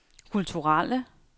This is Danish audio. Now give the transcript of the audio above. kulturelle